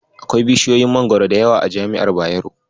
Akwai bishiyoyin Mangwaro da yawa a jami'ar Bayero.